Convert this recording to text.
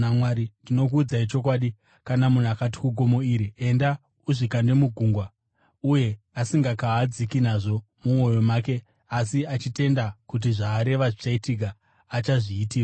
Ndinokuudzai chokwadi, kana munhu akati kugomo iri, ‘Enda, uzvikande mugungwa,’ uye asingakahadziki nazvo mumwoyo make, asi achitenda kuti zvaareva zvichaitika, achazviitirwa.